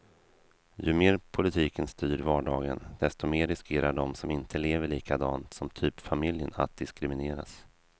Ju mer politiken styr vardagen, desto mer riskerar de som inte lever likadant som typfamiljen att diskrimineras.